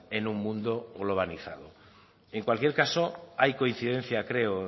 en un mundo globalizado en cualquier caso hay coincidencia creo